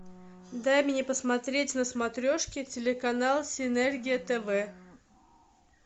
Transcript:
дай мне посмотреть на смотрешке телеканал синергия тв